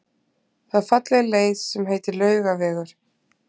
Það er falleg leið sem heitir Laugavegur.